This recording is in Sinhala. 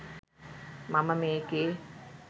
මම මේකේ